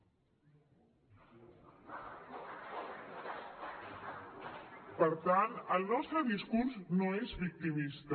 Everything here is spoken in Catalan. per tant el nostre discurs no és victimista